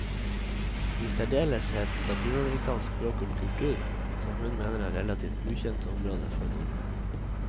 I særdeleshet latinamerikansk språk og kultur, som hun mener er relativt ukjente områder for nordmenn.